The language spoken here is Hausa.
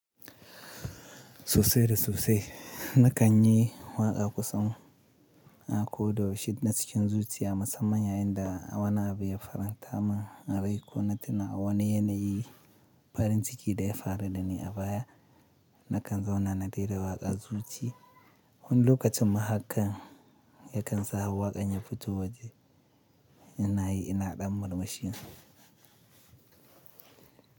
Sosai da sosai. Na kan yi waƙa kusan a ko da yaushe na cikin zuciya musamman yayin da wana abu ya faranta man rai ko na tuna wani yanayi farin ciki da ya faru da ni a baya na kan zauna na rera waƙa zuci. Wani lokacin mahakar ya kan sa waƙan ya fito waje, yanayi ina ɗan murmushi.